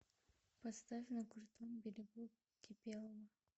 поставь на крутом берегу кипелова